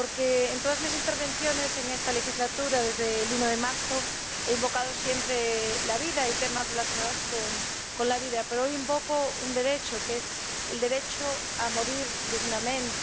Porque en todas mis intervenciones en esta legislatura desde el 1 de marzo me he referido siempre a la vida y a temas relacionados con la vida. Pero hoy invoco un derecho, que es el derecho a morir dignamente.